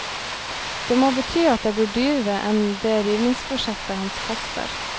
Det må bety at det blir dyrere enn det rivningsprosjektet hans koster.